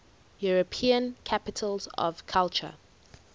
european capitals of culture